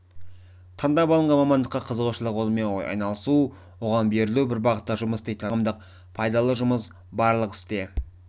таңдап алынған мамандыққа қызығушылық онымен айналысу оған берілу бір бағытта жұмыс істейтін адамдармен қоғамдық пайдалы жұмыс барлық істе